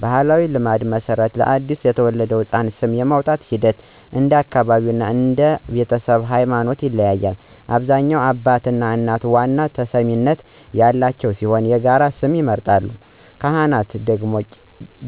በባሕላዊ ልማድ መሠረት፣ ለአዲስ የተወለደ ሕፃን ስም የማውጣቱ ሂደት እንደ አካባቢው እና እንደ ቤተሰቡ ሃይማኖት ይለያያል። በአብዛኛው አባትና እናት ዋና ተሰሚነት ያላቸው ሲሆን የጋራ ስም ይመርጣሉ። ካህን/ቄስ